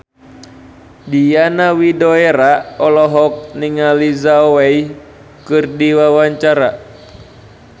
Diana Widoera olohok ningali Zhao Wei keur diwawancara